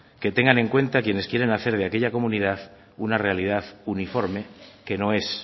que tengan en cuenta quienes quieran hacer de aquella comunidad una realidad uniforme que no es